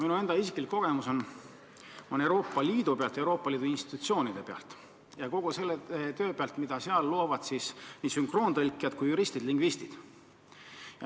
Minu isiklik kogemus on saadud Euroopa Liidus, Euroopa Liidu institutsioonides, nii et tean kogu seda tööd, mida seal teevad nii sünkroontõlgid kui ka juristid-lingvistid.